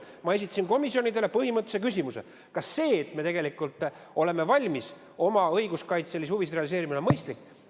Ma esitasin komisjonidele põhimõttelise küsimuse: kas see, et me tegelikult oleme valmis oma õiguskaitselisi huvisid realiseerima, on mõistlik?